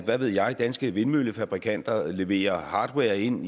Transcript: hvad ved jeg at danske vindmøllefabrikanter leverer hardware ind